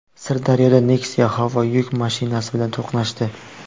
Sirdaryoda Nexia Howo yuk mashinasi bilan to‘qnashdi.